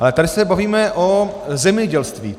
Ale tady se bavíme o zemědělství.